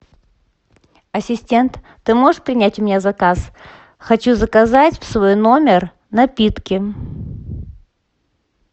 ассистент ты можешь принять у меня заказ хочу заказать в свой номер напитки